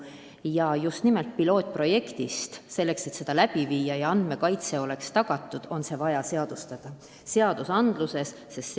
Selleks, et seda pilootprojekti läbi viia ja et oleks tagatud andmekaitse, on vaja see seaduses sätestada.